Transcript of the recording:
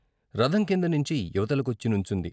రథం కిందనించి ఇవతలకొచ్చినుంచుంది.